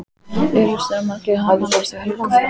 Augljóst er að margir kannast við Helgu frá